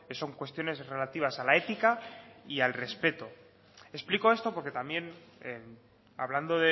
son cuestiones relativas a la ética y al respeto explico esto porque también hablando